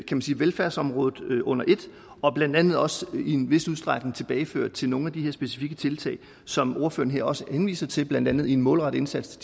velfærdsområdet under et og blandt andet også i en vis udstrækning tilbageført til nogle af de her specifikke tiltag som ordføreren også her henviser til blandt andet en målrettet indsats